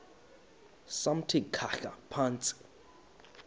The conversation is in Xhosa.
samthi khahla phantsi